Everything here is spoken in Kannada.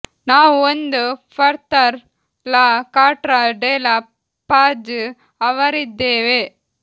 ನಾವು ಒಂದು further La Carta de la Paz ಅವರಿದ್ದೇವೆ